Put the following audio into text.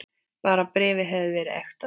Bara bréfið hefði verið ekta!